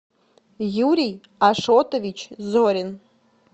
юрий ашотович зорин